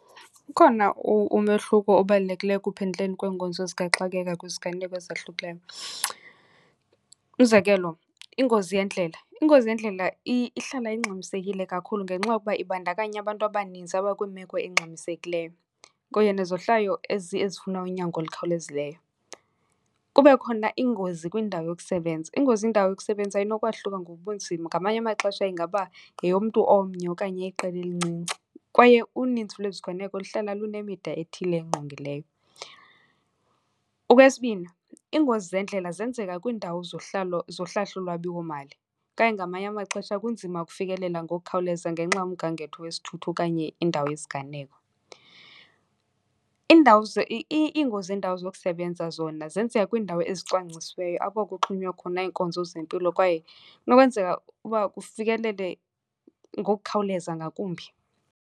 Ukhona umehluko obalulekileyo ekuphenduleni kweenkonzo zikaxakeka kwiziganeko ezahlukileyo. Umzekelo, ingozi yendlela. Ingozi yendlela ihlala ingxamisekile kakhulu ngenxa yokuba ibandakanya abantu abaninzi abakwimeko engxamisekileyo kuye nezohlwayo ezifuna unyango olukhawulezileyo. Kube khona ingozi kwindawo yokusebenza. Ingozi kwindawo yokusebenza inokwahluka ngobunzima, ngamanye amaxesha ingaba yeyomntu omnye okanye iqela elincinci kwaye uninzi lweziganeko luhlala lunemida ethile engqongileyo. Okwesibini, iingozi zendlela zenzeka kwiindawo zohlahlolwabiwomali okanye ngamanye amaxesha kunzima ukufikelela ngokukhawuleza ngenxa yomgangatho wesithuthi okanye indawo yesiganeko. Iindawo , iingozi zeendawo zokusebenza zona zenzeka kwiindawo ezicwangcisiweyo apho kuxhonywa khona iinkonzo zempilo kwaye kunokwenzeka uba kufikelele ngokukhawuleza ngakumbi.